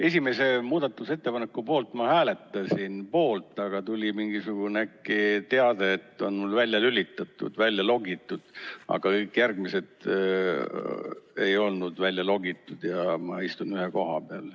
Esimese muudatusettepaneku puhul ma hääletasin poolt, aga äkki tuli mingisugune teade, et mul on välja lülitatud, välja logitud, aga kõik järgmised ei olnud välja logitud, ja ma istun ühe koha peal.